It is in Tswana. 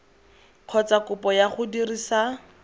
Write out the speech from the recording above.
kgotsa kopo ya go dirisa